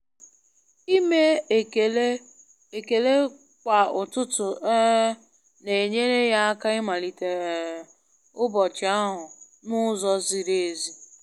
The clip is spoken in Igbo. Ime ekele ekele kwa ụtụtụ um na-enyere ya aka ịmalite um ụbọchị ahụ n'ụzọ ziri ezi.